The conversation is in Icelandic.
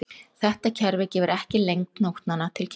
Þetta kerfi gefur ekki lengd nótnanna til kynna.